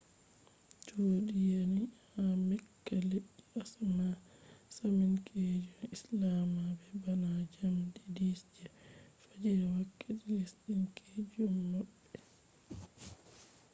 cuudi yani ha mecca leddi asaminkeejum je islama be bana njamdi 10 je fajjiri wakkati lesdin-keejum maɓɓe